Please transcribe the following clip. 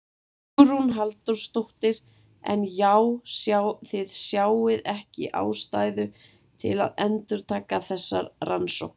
Hugrún Halldórsdóttir: En já þið sjáið ekki ástæðu til að endurtaka þessar rannsóknir?